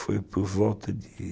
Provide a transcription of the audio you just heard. Foi por volta de